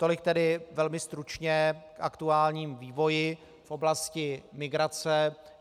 Tolik tedy velmi stručně k aktuálnímu vývoji v oblasti migrace.